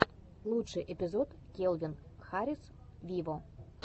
лучший эпизод кельвин харрис виво